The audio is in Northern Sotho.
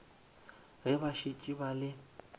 ge ba šetše ba le